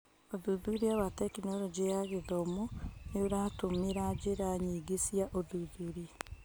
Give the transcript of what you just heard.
ũthuthuria wa Tekinoronjĩ ya Gĩthomo nĩũratũmĩra njĩra nyingĩ cia ũthuthuria.